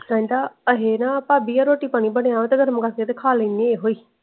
ਕਹਿੰਦਾ ਅਹੇ ਨਾ ਪਬੀ ਅਲ ਰੋਟੀ ਪਾਣੀ ਬਣਿਆ ਹੋਏ ਨਾ ਮੈਂ ਤੇ ਮੰਗਤੇ ਖਾ ਲੈਣੇ ਏਹੋਹਿ।